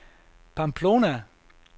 Pamplona